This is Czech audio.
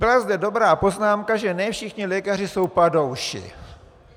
Byla zde dobrá poznámka, že ne všichni lékaři jsou padouši.